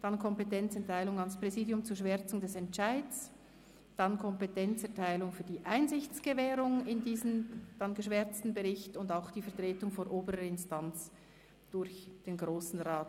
Es geht um die Kompetenzerteilung an das Präsidium zur Schwärzung des Entscheids, die Kompetenzerteilung für die Einsichtsgewährung in diesen geschwärzten Bericht und auch die Vertretung vor oberer Instanz durch den Grossen Rat.